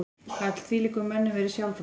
Gat þvílíkum mönnum verið sjálfrátt?